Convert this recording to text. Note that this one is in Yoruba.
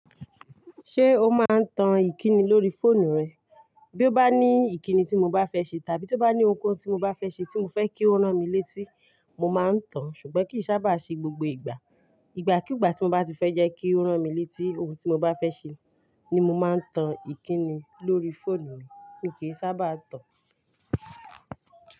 Ṣé o máa ń tan ìkíni lórí fóònù rẹ? Bí ó bá ní ìkíni tí mo bá fẹ́ ṣe tàbí tó bá ní ohunkóhun tí mo bá fẹ́ ṣe tí mo fẹ́ kí ó rán mi létí, mo máa ń tan, ṣùgbọ́n kì í sábà ṣe gbogbo ìgbà. Ìgbà kú ìgbà tí mo bá ti fẹ́ jẹ́ kí ó rán mi létí ohun tí mo bá fẹ́ ṣe ni mo máa ń tan ìkíni lórí fóònù mi, mi kì í sábà tàn.